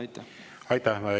Aitäh!